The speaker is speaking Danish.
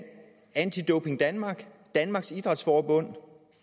anti doping danmark danmarks idræts forbund